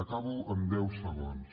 acabo en deu segons